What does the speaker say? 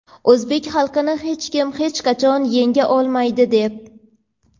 o‘zbek xalqini hech kim hech qachon yenga olmaydi– deb.